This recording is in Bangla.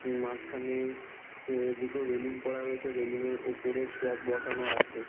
মাঝখানে এ -দুটো রেলিং করা রয়েছে রেলিং -এর ওপরে টব বসানো আছে।